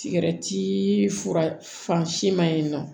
Sigɛrɛti fura fan si ma ye nɔ